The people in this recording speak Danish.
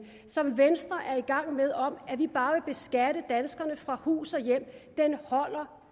som venstre er i gang med om at vi bare vil beskatte danskerne fra hus og hjem